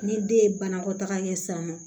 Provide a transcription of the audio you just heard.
Ni den ye banakɔtaga kɛ sisan nɔ